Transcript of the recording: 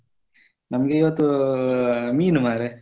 ನಮ್ಗೆ ಇವತ್ತು ಮೀನು ಮಾರೆ.